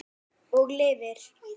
Og lifir.